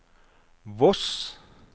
Voss